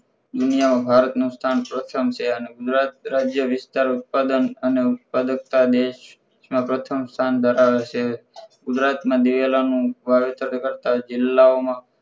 દુનિયા માં ભારત નું સ્થાન પ્રથમ છે અને ગુજરાત રાજય વિસ્તાર ઉત્પાદન અને ઉત્પાદકતા દેશમાં પ્રથમ સ્થાન ધરાવે છે ગુજરાત માં દિવેલાનું વાવેતર કરતાં જિલ્લાઓમાં